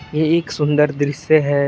ये एक सुंदर दृश्य है।